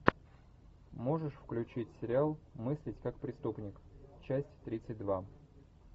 можешь включить сериал мыслить как преступник часть тридцать два